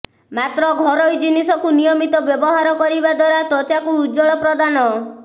ମାତ୍ର ଘରୋଇ ଜିନିଷକୁ ନିୟମିତ ବ୍ୟବହାର କରିବା କରିବା ଦ୍ୱାରା ତ୍ୱଚାକୁ ଉଜ୍ଜ୍ୱଳତା ପ୍ରଦାନ